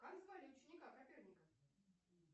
как звали ученика коперника